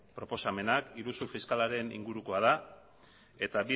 proposamena iruzur fiskalaren ingurukoa da eta